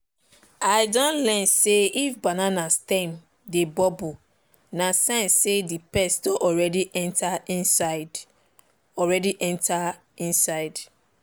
i don learn say if banana stem dey bubble na sign say the pest don already enter inside. already enter inside.